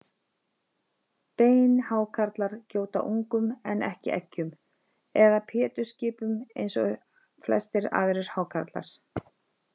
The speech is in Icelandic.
Beinhákarlar gjóta ungum en ekki eggjum eða pétursskipum eins og flestir aðrir hákarlar.